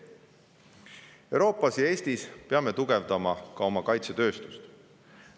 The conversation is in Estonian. Mujal Euroopas ja Eestis peame tugevdama ka oma kaitsetööstust.